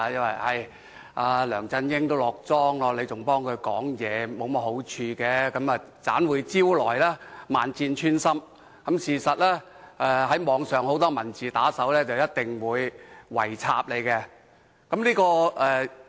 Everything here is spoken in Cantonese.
他們說，梁振英即將"落莊"，替他說話沒甚麼好處，只會招來萬箭穿心，被網上很多文字打手"圍插"。